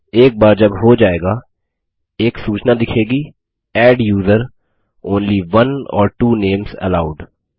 एक बार जब हो जाएगा एक सूचना दिखेगी adduser160 only one or two names allowed